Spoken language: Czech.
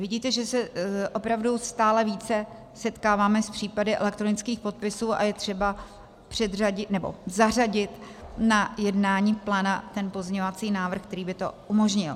Vidíte, že se opravdu stále více setkáváme s případy elektronických podpisů, a je třeba zařadit na jednání pléna ten pozměňovací návrh, který by to umožnil.